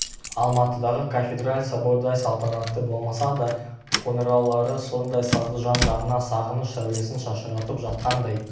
алматыдағы кафедраль собордай салтанатты болмаса да қоңыраулары сондай сазды жан-жағына сағыныш сәулесін шашыратып жатқандай